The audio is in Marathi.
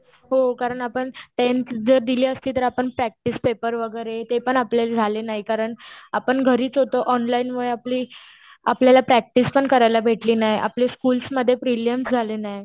हो. कारण आपण टेंथ जर दिली असती. तर आपण प्रॅक्टिस पेपर वगैरे ते पण आपले झाले नाहीत. कारण आपण घरीच होतो. ऑनलाईनमुळे आपली आपल्याला प्रॅक्टिस पण करायला भेटली नाही. आपली स्कुलमध्ये प्रीलियम्स झाली नाही.